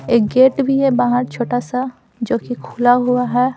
एक गेट भी है बाहर छोटा-सा जो कि खुला हुआ है।